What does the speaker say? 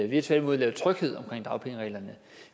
vi har tværtimod lavet tryghed omkring dagpengereglerne